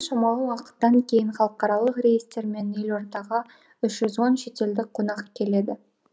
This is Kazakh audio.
шамалы уақыттан кейін халықаралық рейстермен елордаға үш жүз он шетелдік қонақ келеді